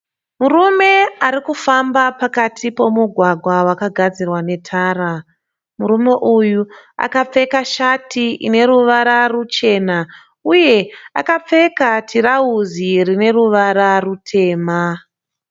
Murume arikufamba pakati pomugwagwa wakagadzirwa netara. Murume uyu akapfeka shati ine ruvara ruchena uye akapfeka tirauzi rine ruvara rutema.